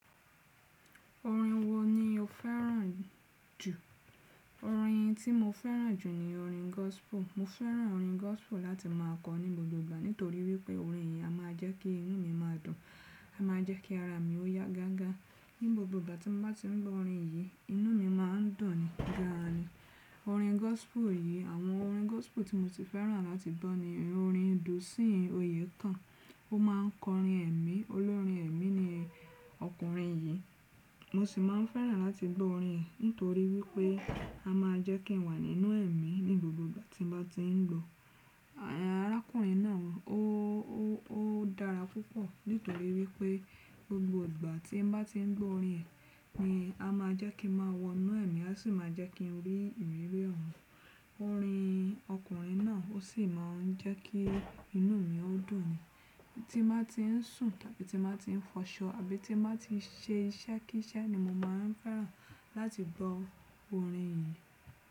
Orin wo ni o fẹ́ràn jù? Orin tí mo fẹ́ràn jù ni orin gospel. Mo fẹ́ràn orin gospel láti má a kọ ní gbogbo ìgbà nítorí wípé orin yìí a má a jẹ́ kí inú mi má a dùn, a má a jẹ́ kí ara mi ó yá gágá. Ní gbogbo ìgbà tí mo bá ti ń gbọ́ orin yìí, inú mi má n dùn ni gan ni. Orin gospel yìí, àwọn orin gospel tí mo ti fẹ́ràn láti gbọ́ ni orin Dusin Oyekan. Ó má n kọrin ẹ̀mí. Olórin ẹ̀mí ni ọkùnrin yìí. Mo sì máa n fẹ́ràn láti gbọ́ orin ẹ̀ nítorí wípé a máa jẹ́ kí n wà nínú ẹ̀mí ní gbogbo ìgbà tí mo bá ti n gbọ́. Arákùnrin náà ó dára púpọ̀ nítorí wípé gbogbo ìgbà tí mo bá ti n gbọ́ orin ẹ̀ ni a má a jẹ́ kí a máa wọ inú ẹ̀mí, a sì máa jẹ́ kí n rí ìrírí ọ̀run. Orin ọkùnrin náà ó sì máa n jẹ́ kí inú mi ó dùn ni. Tí nbá ti n sùn tàbí tí mo bá ti n fọṣọ àbí tí n bá ti n ṣe iṣẹ́ kí iṣẹ́ ni mo máa n fẹ́ràn láti gbọ́ orin yìí.